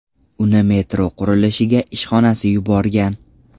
Uni metro qurilishiga ishxonasi yuborgan.